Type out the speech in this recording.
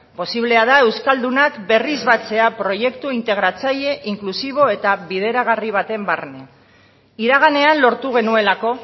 posiblea da euskaldunak berriz batzea proiektu integratzaile inklusibo eta bideragarri baten barne iraganean lortu genuelako